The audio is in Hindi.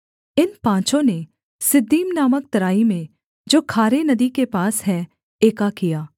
इन पाँचों ने सिद्दीम नामक तराई में जो खारे नदी के पास है एका किया